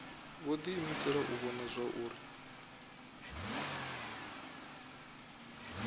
vho diimisela u vhona zwauri